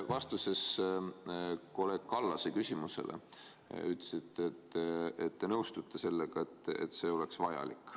Vastuses kolleeg Kallase küsimusele te ütlesite, et te nõustute sellega, et see oleks vajalik.